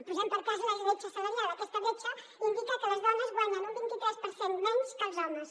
posem per cas la bretxa salarial aquesta bretxa indica que les dones guanyen un vint i tres per cent menys que els homes